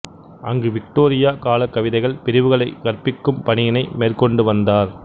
அங்கு விக்டோரியா கால கவிதைகள் பிரிவுகளை கற்பிக்கும் பணியினை மேற்கொண்டு வந்தார்